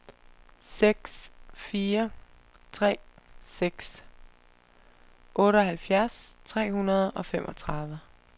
seks fire tre seks otteoghalvfjerds tre hundrede og femogtredive